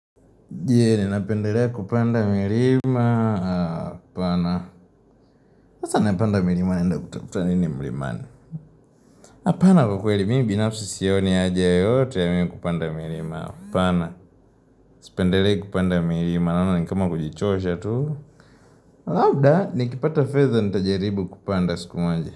Je, ninapendele kupanda mirima Apana sasa napanda mirima naenda kutafuta nini mlimani Apana kwakweli mimi binafsi sioni haja yoyote ya mimi kupanda mirima Apana Sipendelei kupanda mirima Naona ni kama kujichosha tu Labda, nikipata fedha nitajaribu kupanda siku moja.